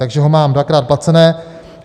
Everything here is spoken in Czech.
Takže ho mám dvakrát placené.